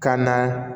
Ka na